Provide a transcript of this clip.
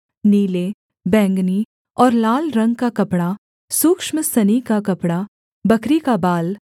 नीले बैंगनी और लाल रंग का कपड़ा सूक्ष्म सनी का कपड़ा बकरी का बाल